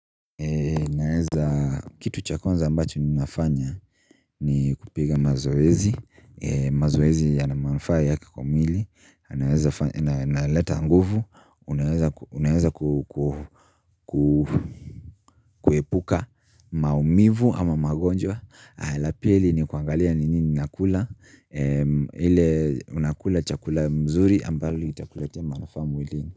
Naeza kitu cha kwanza ambacho ninafanya ni kupiga mazoezi mazoezi yana manufaa yake kwa mwili naleta nguvu unaeza kuepuka maumivu ama magonjwa la pili ni kuangalia ni nini nakula ile unakula chakula mzuri ambalo litakuletea manufaa mwilini.